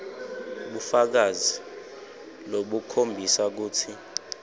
bufakazi lobukhombisa kutsi